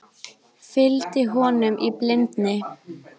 Fylgdi honum í blindni